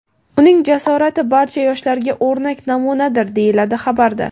Uning jasorati barcha yoshlarga o‘rnak namunadir, deyiladi xabarda.